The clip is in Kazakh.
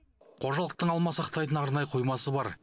қожалықтың алма сақтайтын арнайы қоймасы бар